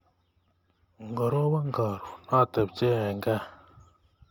ngoroban karoon atebchee eng kaa